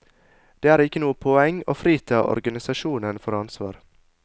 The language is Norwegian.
Det er ikke noe poeng å frita organisasjonen for ansvar.